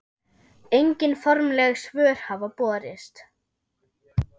Engin formleg svör hafa borist.